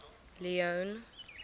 leone